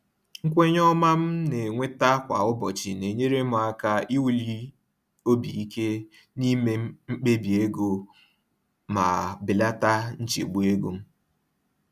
Nkwenye ọma m na-enweta kwa ụbọchị na-enyere m aka iwuli obi ike n’ime mkpebi ego m ma belata nchegbu ego.